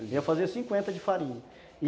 Eu ia fazer cinquenta de farinha.